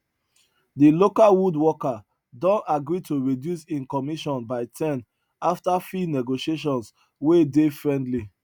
de local woodworker don agree to reduce im commission by ten after fee negotiations wey dey friendly